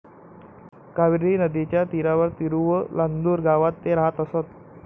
कावेरी नदीच्या तीरावर तिरुवलांदूर गावात ते राहत असत.